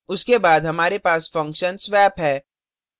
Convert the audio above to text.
उसके बाद हमारे पास फंक्शनswap है